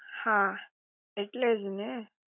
હા, ઍટલે જ ને